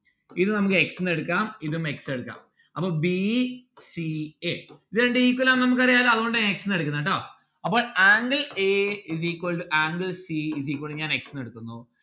ഇത് നമ്മുക്ക് x ന്ന്‌ എടുക്കാം ഇതും x എടുക്കാം അപ്പം b c x ഇത് രണ്ടും equal ആണ് നമ്മുക്ക് അറിയാലോ അതുകൊണ്ട് ഞാൻ x ന്ന്‌ എടുക്കുന്ന് ട്ടോ അപ്പോൾ angle a is equal to angle c is equal to ഞാൻ x ന്ന്‌ എടുക്കുന്നു